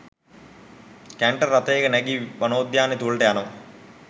Canter රථයක නැගී වනෝද්‍යානය තුළට යනවා.